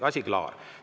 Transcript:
Asi klaar.